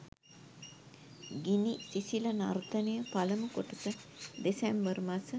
ගිනි සිසිල නර්තනය පළමු කොටස දෙසැම්බර් මස